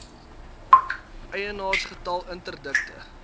eienaars getal interdikte